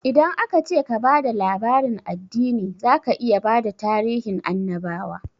Idan aka ce ka ba da labarin addini, zaka iya bada tarihin annabawa